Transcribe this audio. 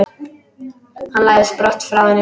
Hann læðist brott frá henni.